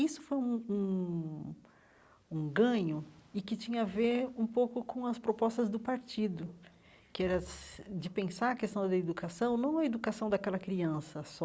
Isso foi um um um ganho e que tinha a ver um pouco com as propostas do partido, que era se de pensar a questão da educação, não a educação daquela criança só,